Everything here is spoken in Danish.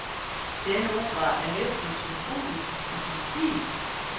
Denne opera er næsten symfonisk i sin stil.